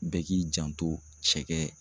Bɛɛ k'i janto cɛkɛ